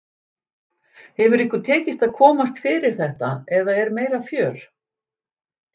Hefur ykkur tekist að komast fyrir þetta eða er meira fjör?